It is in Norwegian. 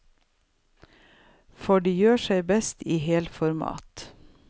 For de gjør seg best i helformat.